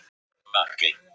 Margeir